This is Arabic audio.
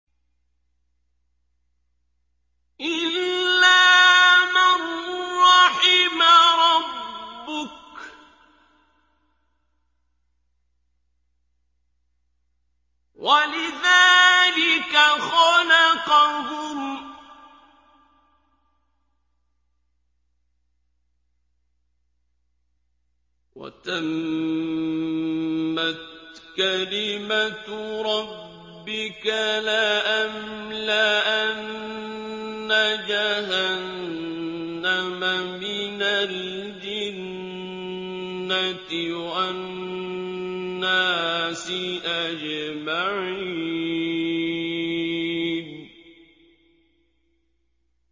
إِلَّا مَن رَّحِمَ رَبُّكَ ۚ وَلِذَٰلِكَ خَلَقَهُمْ ۗ وَتَمَّتْ كَلِمَةُ رَبِّكَ لَأَمْلَأَنَّ جَهَنَّمَ مِنَ الْجِنَّةِ وَالنَّاسِ أَجْمَعِينَ